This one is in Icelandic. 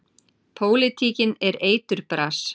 Pólitíkin er eiturbras.